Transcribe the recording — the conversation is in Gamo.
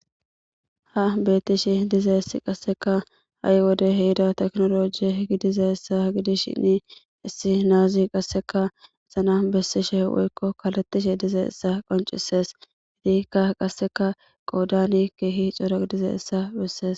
Ha beettishi diza issi qasseka ha'i wode heyda teknolojie gidiza essa gidis shini issi naazi qasseka zana bessishe woykko kalettishe diza issa qoncisees idikka qasseka qoodani keehi cora diza essa bissees.